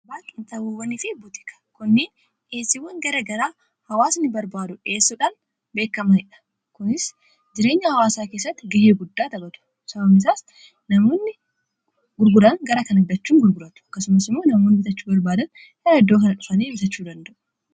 gaba qinixxaaboo fi buutikiiwwan kunniin dhiheessiwwan gara garaa hawaasni barbaadu dhiheessuudhaan kan beekamaniidha. kunis jireenya hawaasaa keessatti ga'ee guddaa taphatu sababni isaas namoonni gurguran gara kana fidachuun gurguratu. akkasumas immoo namoonni bitachuu barbaadan gara iddoo kana dhufanii bitachuu danda'u.